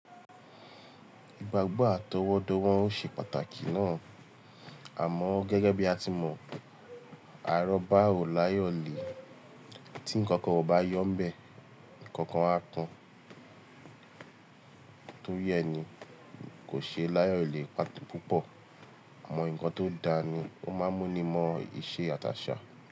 Ìgbàgbọ́ àtọwọ́dọ́wọ ó n ṣe pàtàkì náà. Àmọ́ gẹ́gẹ́ bí a ti mọ̀, àrọ́bá ò láyọ̀lé. Tí ǹkankan ò bá yọ̀n ń bẹ̀, ǹkankan á kán. Torí ẹni kò ṣe láyọ̀lé púpọ̀. Àmọ́ ǹkan tó da ni ó máa ń mú ni mọ ìṣe àtàṣà.